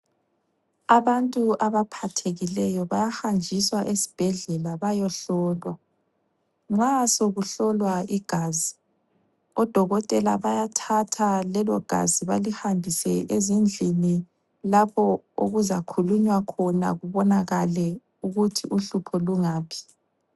Abantu abaphathekileyo bayahanjiswa esibhedlela bayohlolwa. Nxa sokuhlowa igazi odokotela bayathatha lelogazi balihambise ezindlini lapho okuzakhulunywa khona kubonakale ukuthi uhlupho lungaphi.